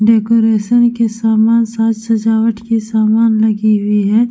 Decoration के सामान साज-सजावट के सामान लगी हुई है।